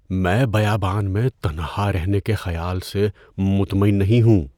میں بیابان میں تنہا رہنے کے خیال سے مطمئن نہیں ہوں۔